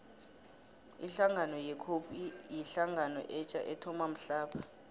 ihlangano ye cope yihlangano etja ethoma mhlapha